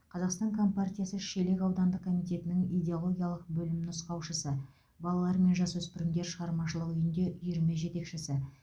қазақстан компартиясы шелек аудандық комитетінің идеологиялық бөлім нұсқаушысы балалар мен жасөспірімдер шығармашылық үйінде үйірме жетекшісі